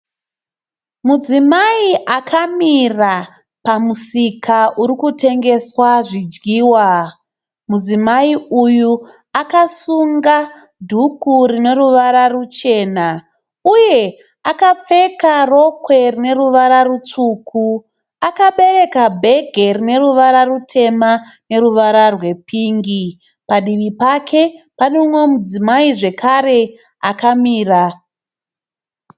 Mune imwe pane mudziyo uripo unogadzikirwa terevizheni. Mudziyo uyu uneruvara rutema. Mudziyo uyu une makabati maviri akavharwa. Necheshure kwemudziyo uyu kune rudziro rwezvitinha.